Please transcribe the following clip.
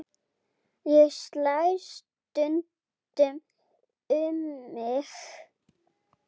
Ég slæ stundum um mig.